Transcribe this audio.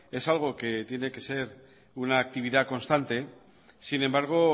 es algo que tiene que ser una actividad constante sin embargo